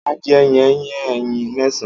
Ádìẹ yẹ̀n yé ẹ̀yín mẹ̀sãn